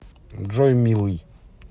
джой милый